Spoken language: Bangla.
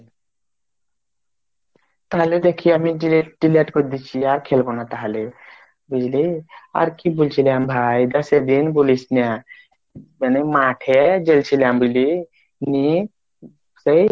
তাহলে দেখি আমি delete delete delete কর দেশি আর খেলবোনা তাহলে বুঝলি আর আর কি বলছিলাম ভাই বেশিদিন বলিস না কেন মাঠে জাইসিলাম বলে মেয়ে সেই